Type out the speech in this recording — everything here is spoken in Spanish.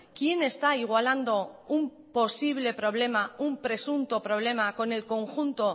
quién está igualando un posible problema un presunto problema con el conjunto